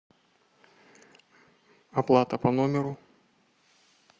оплата по номеру